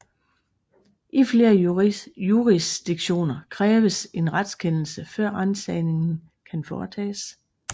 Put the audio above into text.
I flere jurisdiktioner kræves en retskendelse før ransagningen kan foretages